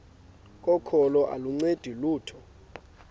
kokholo aluncedi lutho